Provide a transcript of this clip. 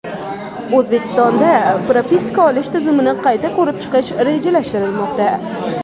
O‘zbekistonda propiska olish tizimini qayta ko‘rib chiqish rejalashtirilmoqda.